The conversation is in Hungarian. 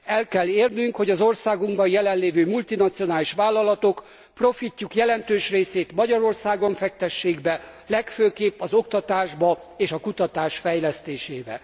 El kell érnünk, hogy az országunkban jelenlévő multinacionális vállalatok profitjuk jelentős részét Magyarországon fektessék be, legfőképp az oktatásba és a kutatás fejlesztésébe.